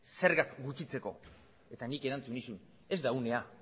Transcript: zergak gutxitzeko eta nik erantzun nizun ez da unea